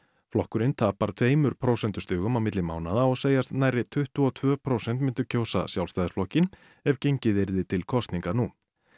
flokkurinn tapar tveimur prósentustigum á milli mánaða og segjast nærri tuttugu og tvö prósent myndu kjósa Sjálfstæðisflokkinn ef gengið yrði til kosninga nú